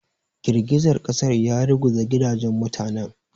Girgizar ƙasar ya ruguza gidajen mutanen.